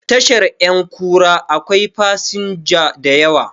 Tashar 'yankura akwai fasinja da yawa